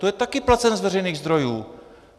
To je taky placen z veřejných zdrojů.